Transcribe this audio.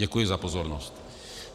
Děkuji za pozornost.